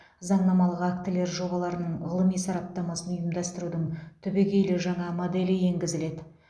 заңнамалық актілер жобаларының ғылыми сараптамасын ұйымдастырудың түбегейлі жаңа моделі енгізіледі